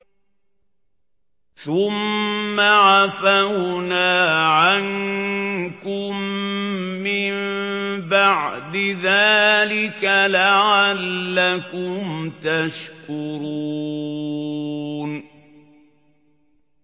ثُمَّ عَفَوْنَا عَنكُم مِّن بَعْدِ ذَٰلِكَ لَعَلَّكُمْ تَشْكُرُونَ